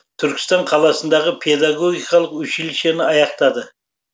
түркістан қаласындағы педагогикалық училищені аяқтады